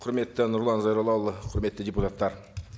құрметті нұрлан зайроллаұлы құрметті депутаттар